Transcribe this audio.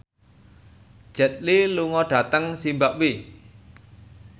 Jet Li lunga dhateng zimbabwe